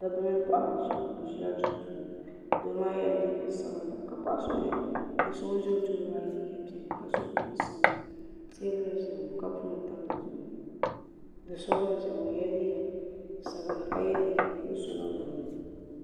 Dabba mini paɣaba n ziya ŋɔ bi zila duu puuni doo maa yela liiga sabinli ka so so ŋuni zɛ o tooni maa ye liiga piɛlli ka so jinjam sabinli tɛɛbuli n zaya ŋɔ kapu nima tam di zuɣu doo so gba n ziya ŋɔ o yela liiga sabinli ka ye liiga nuɣiso niŋ dini.